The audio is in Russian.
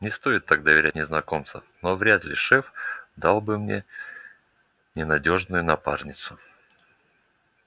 не стоит так доверяться незнакомцам но вряд ли шеф дал бы мне ненадёжную напарницу